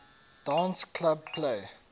dance club play